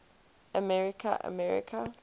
america america